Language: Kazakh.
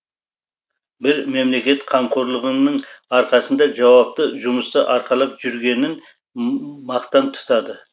бір мемлекет қамқорлығының арқасында жауапты жұмысты арқалап жүргенін мақтан тұтады